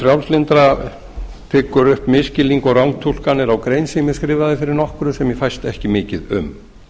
frjálslyndra tyggur upp misskilning og rangtúlkanir á grein sem ég skrifaði fyrir nokkru sem ég fæst ekki mikið um